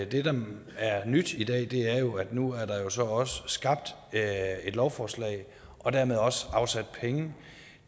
det der er nyt i dag er jo at der nu så også er skabt et lovforslag og dermed også afsat penge